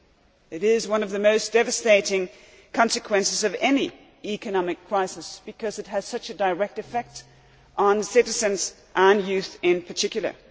Unemployment is one of the most devastating consequences of any economic crisis because it has such a direct effect on citizens, and youth in particular.